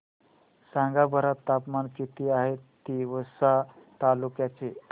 सांगा बरं तापमान किती आहे तिवसा तालुक्या चे